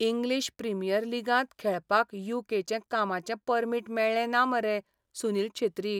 English premier लीगांत खेळपाक U. K. चें कामाचें परमीट मेळ्ळें ना मरे सुनील छेत्रीक.